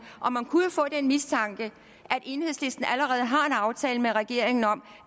og man kunne jo få den mistanke at enhedslisten allerede har en aftale med regeringen om